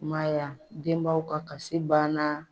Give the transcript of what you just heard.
I m'a ye wa, denbaw ka kasi banna